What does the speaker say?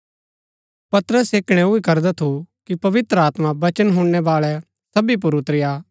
पतरस ऐह कणैऊ ही करदा थु कि पवित्र आत्मा वचन हुणनैबाळै सबी पुर उतरी आ